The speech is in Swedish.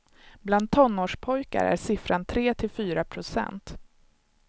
Bland tonårspojkar är siffran tre till fyra procent.